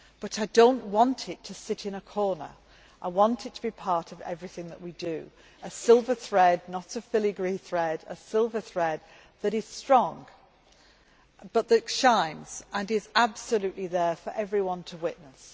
But I do not want it to sit in a corner. I want it to be part of everything that we do a silver thread, not a filigree thread, a silver thread that is strong but that shines and is there for everyone to witness.